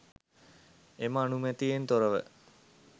එම අනුමැතියෙන් තොරව